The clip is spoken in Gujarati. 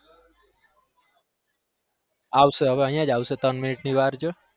આવશે હવે અહીંયા જ આવશે ત્રણ minute ની વાર જો